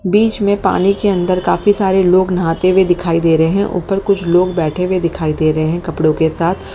बीच मे पानी के अंदर काफी सारे लोग नहाते हुए दिखाई दे रहे है ऊपर कुछ लोग बैठे हुए दिखे दे रहे है कपड़ो के साथ।